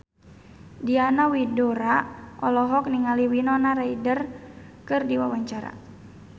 Diana Widoera olohok ningali Winona Ryder keur diwawancara